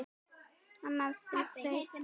Annað er breytt.